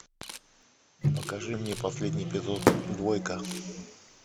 покажи мне последний эпизод двойка